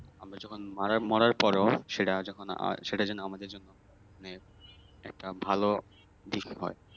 আমরা যখন মারা মরার পরেও সেটা যখন আহ সেটা যেন আমাদের জন্য মানে একটা ভালো হয়